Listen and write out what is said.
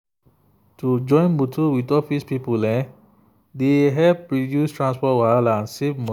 to join motor with office people dey help reduce transport wahala and save money.